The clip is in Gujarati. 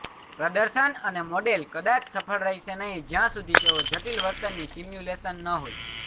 પ્રદર્શન અને મોડેલ કદાચ સફળ રહેશે નહીં જ્યાં સુધી તેઓ જટિલ વર્તનની સિમ્યુલેશન ન હોય